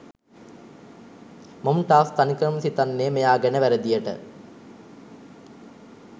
මොම්ටාස් තනිකරම හිතන්නේ මෙයා ගැන වැරදියට.